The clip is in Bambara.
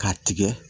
K'a tigɛ